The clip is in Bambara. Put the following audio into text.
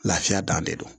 Lafiya dan de don